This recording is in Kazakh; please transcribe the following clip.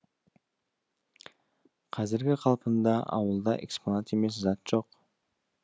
қазіргі қалпында ауылда экспонат емес зат жоқ